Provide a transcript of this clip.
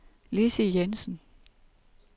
Lissy Jessen